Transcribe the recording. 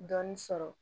Dɔɔnin sɔrɔ